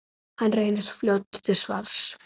Hann reynist fljótur til svars.